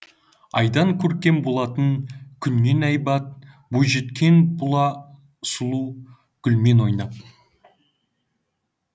айдан көркем болатын күннен әйбат бойжеткен бұла сұлу гүлмен ойнап